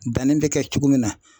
Danni bɛ kɛ cogo min na.